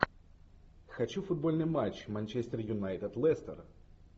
хочу футбольный матч манчестер юнайтед лестер